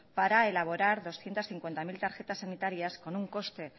para elaborar doscientos cincuenta mil tarjetas sanitarias con un coste